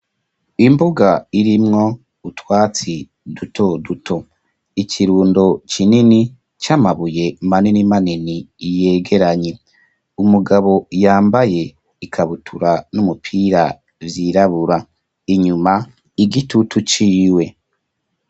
Imbuga irimwo utwatsi duto duto ikirundo cinini c'amabuye maninimanini iyegeranye umugabo yambaye ikabutura n'umupira vyirabura inyuma igitutu ciwe.